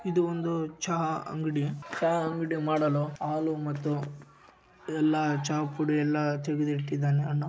ಇದು ಒಂದು ಚಹಾ ಅಂಗಡಿ ಚಹಾ ಅಂಗಡಿ ಮಾಡಲು ಹಾಲು ಮತ್ತು ಎಲ್ಲಾ ಚಹಾ ಪುಡಿ ಎಲ್ಲಾ ತೆಗೆದು ಇಟ್ಟಿದ್ಧಾನೆ ಅಣ್ಣ.